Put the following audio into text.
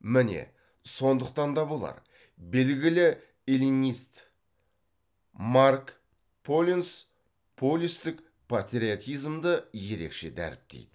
міне сондықтан да болар белгілі эллинист марк поленц полистік патриотизмді ерекше дәріптейді